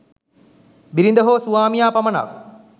බිරිඳ හෝ ස්වාමියා පමණක්